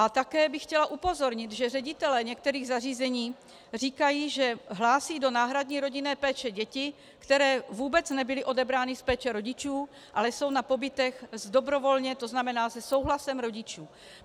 A také bych chtěla upozornit, že ředitelé některých zařízení říkají, že hlásí do náhradní rodinné péče děti, které vůbec nebyly odebrány z péče rodičů, ale jsou na pobytech dobrovolně, to znamená se souhlasem rodičů.